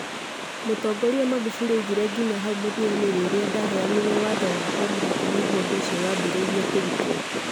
Mũtongoria Magufuli oigire atĩ nginya hau mũthiainĩ rĩrĩa ndahenyanire watho wa o mũhaka niguo ũndũ ũcio waambĩrĩirie kũrutwo.